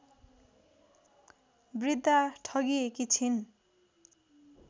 वृद्धा ठगिएकी छिन्